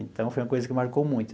Então, foi uma coisa que marcou muito.